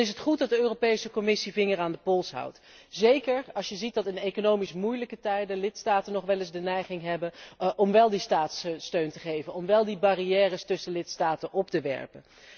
Het is goed dat de Europese Commissie de vinger aan de pols houdt, zeker als je ziet dat in economisch moeilijk tijden lidstaten nog wel eens de neiging hebben om wel staatssteun te geven en om wel barrières tussen lidstaten op te werpen.